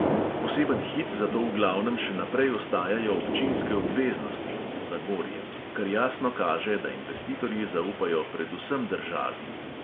Poseben hit zato v glavnem še naprej ostajajo občinske obveznosti kar jasno kaže, da investitorji zaupajo predvsem državi.